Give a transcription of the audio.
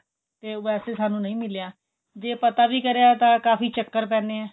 ਟ ਉਹ ਵੈਸੇ ਸਾਨੂੰ ਨਹੀਂ ਮਿਲਿਆ ਜੇ ਪਤਾ ਵੀ ਕਰਿਆ ਤਾਂ ਕਾਫੀ ਚੱਕਰ ਪੈਂਦੇ ਐ